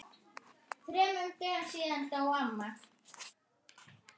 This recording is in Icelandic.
Ekki sjúkt.